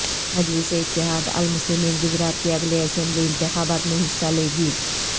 مجلس اتحاد المسلمین گجرات کے اگلے اسمبلی انتخابات میں حصہ لے گی